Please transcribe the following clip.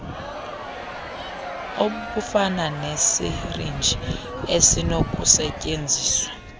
obufana nesirinji esinokusetyenziswa